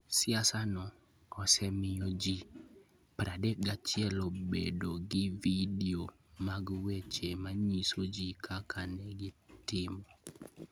siasano osemiyo ji 31 obedo gi vidio mag weche manyiso ji kaka ne gitimo.